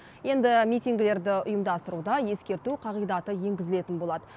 енді митингілерді ұйымдастыруда ескерту қағидаты енгізілетін болады